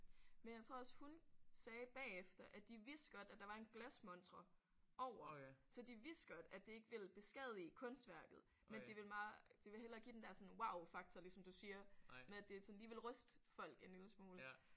Men jeg tror også hun sagde bagefter at de vidste godt at der var en glasmontre over så de vidste godt at det ikke ville beskadige kunstværket men de ville meget de ville hellere give den der sådan wowfaktor ligesom du siger med at det sådan lige ville ryste folk en lille smule